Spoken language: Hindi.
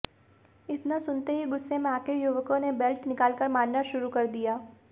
इतना सुनते ही गुस्से में आकर युवकों ने बेल्ट निकालकर मारना शुरू कर दिया